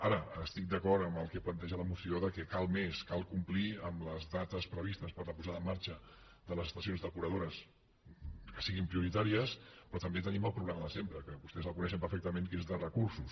ara estic d’acord amb el que planteja la moció que cal més cal complir amb les dates previstes per a la posada en marxa de les estacions depuradores que siguin prioritàries però també tenim el problema de sempre que vostès el coneixen perfectament que és de recursos